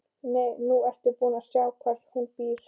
Nú ertu búin að sjá hvar hún býr.